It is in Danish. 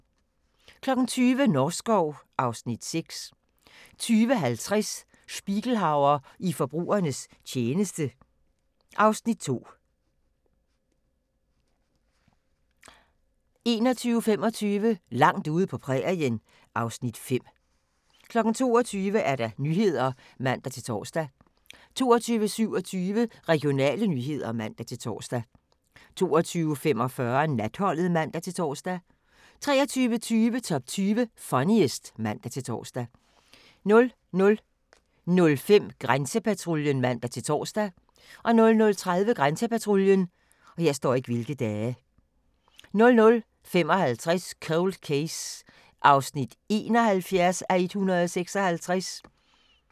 20:00: Norskov (Afs. 6) 20:50: Spiegelhauer i forbrugernes tjeneste (Afs. 2) 21:25: Langt ude på prærien (Afs. 5) 22:00: Nyhederne (man-tor) 22:27: Regionale nyheder (man-tor) 22:45: Natholdet (man-tor) 23:20: Top 20 Funniest (man-tor) 00:05: Grænsepatruljen (man-tor) 00:30: Grænsepatruljen 00:55: Cold Case (71:156)